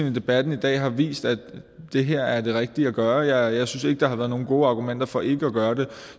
at debatten i dag har vist at det her er det rigtige at gøre jeg synes ikke at der har været nogle gode argumenter for ikke at gøre det